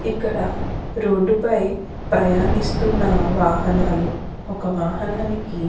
ఇక్కడ రోడ్డు పై ప్రయాణిస్తున్న వాహనాలు ఒక వాహనానికి --